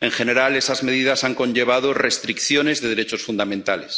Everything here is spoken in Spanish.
En general, esas medidas han conllevado restricciones de derechos fundamentales.